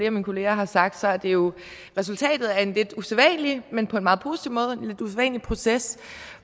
af mine kolleger har sagt er det jo resultatet af en lidt usædvanlig men på en meget positiv måde proces